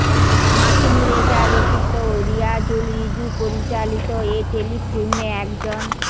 মাসুম রেজা রচিত ও রিয়াজুল রিজু পরিচালিত এ টেলিফিল্মে একজন